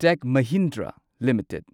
ꯇꯦꯛ Mahindra limited